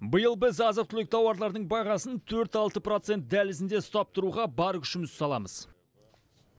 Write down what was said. биыл біз азық түлік тауарлардың бағасын төрт алты процент дәлізінде ұстап тұруға бар күшімізді саламыз